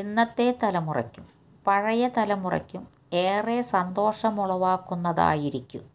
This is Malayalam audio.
ഇന്നത്തെ തലമുറയ്ക്കും പഴയ തലമുറയ്ക്കും ഏറെ സന്തോഷമുളവാക്കുന്നതായിരിക്കും